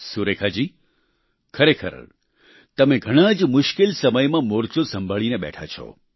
સુરેખા જી ખરેખર તમે ઘણાં જ મુશ્કેલ સમયમાં મોરચો સંભાળીને બેઠા છો